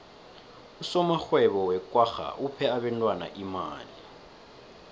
usomarhwebo wekwagga uphe abentwana imali